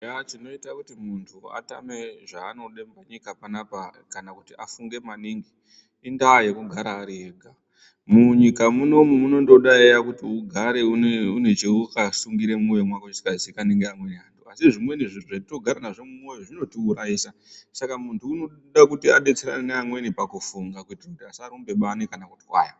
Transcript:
Eyaa tunoita kuti muntu atame zvaanode munyika panapa kana kuti afunge maningi indaa yekugara ari ega. Munyika munomu munondoda eyaa kuti ugare une chawakasungire mumwoyo mwako chisingaziikanwi ngeamweni vantu uye zvimweni zvintu zvatinogare nazvo mumwoyo zvinotiurayisa. Saka muntu unoda kuti abetserane nevamweni pakufunga kuitire kuti asarumbe bani kana kutwaya.